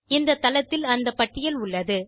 இந்த தளத்தில் அந்த பட்டியல் உள்ளது